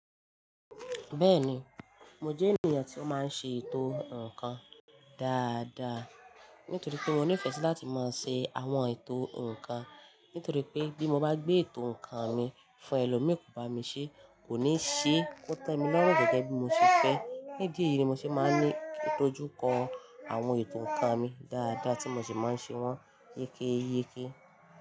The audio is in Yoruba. Bẹ́ẹ̀ni, mo jẹ́ ènìyàn tí ó máa ń ṣe ètò ǹkan dáadáa. Nítorí pé mo ní ìfẹ́ sí láti máa ṣe àwọn ètò ǹkan. Nítorí pé bí mo bá gbé ètò ǹkan mi fún ẹlòmíì, kò bá mi ṣé, kò ní ṣe ó tàn mí lọ́rùn gẹ́gẹ́ bí mo ṣe fẹ́. Ní idi eyìí ni mo ṣe máa ń ní o ju kọ àwọn ètò ǹkan mi dáadáa tí mo sì máa ń ṣe wọ́n yékéyéké.